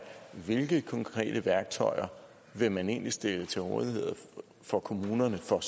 hvilke konkrete værktøjer vil man egentlig stille til rådighed for kommunerne for